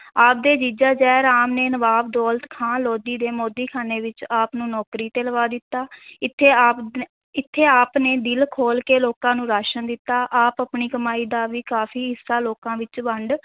ਆਪ ਦੇ ਜੀਜੇ ਜੈ ਰਾਮ ਨੇ ਨਵਾਬ ਦੌਲਤ ਖਾਂ ਲੋਧੀ ਦੇ ਮੋਦੀਖਾਨੇ ਵਿੱਚ ਆਪ ਨੂੰ ਨੌਕਰੀ ਤੇ ਲਵਾ ਦਿੱਤਾ ਇੱਥੇ ਆਪ ਨ~ ਇੱਥੇ ਆਪ ਨੇ ਦਿਲ ਖੋਲ੍ਹ ਕੇ ਲੋਕਾਂ ਨੂੰ ਰਾਸ਼ਨ ਦਿੱਤਾ, ਆਪ ਆਪਣੀ ਕਮਾਈ ਦਾ ਵੀ ਕਾਫ਼ੀ ਹਿੱਸਾ ਲੋਕਾਂ ਵਿੱਚ ਵੰਡ,